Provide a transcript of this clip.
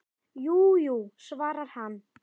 Jú, jú, svarar hann.